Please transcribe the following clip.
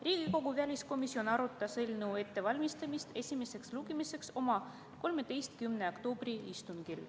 Riigikogu väliskomisjon arutas eelnõu ettevalmistamist esimeseks lugemiseks oma 13. oktoobri istungil.